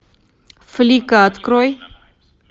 флика открой